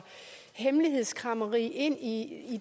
hemmelighedskræmmeri ind i